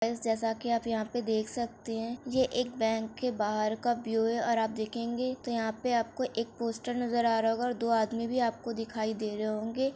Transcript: guys जैसा की आप देख सकते है ये एक बैंक के बाहर का व्यू है| आप देखेंगे तो यहाँ पे आप को एक पोस्टर नजर आ रहा होगा और दो आदमी भी आप को दिखाय दे रहे होंगे|